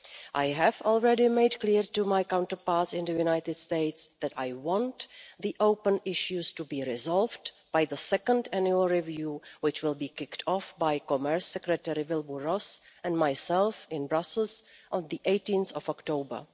I have already made clear to my counterparts in the United States that I want the open issues to be resolved by the second annual review, which will be kicked off by Commerce Secretary Wilbur Ross and myself in Brussels on 18 October.